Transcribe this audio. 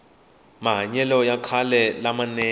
mahanyele ya khale la manene